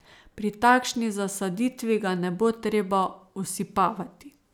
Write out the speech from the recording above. Pri takšni zasaditvi ga ne bo treba osipavati.